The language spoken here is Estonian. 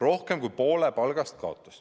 Rohkem kui poole palgast ta kaotas.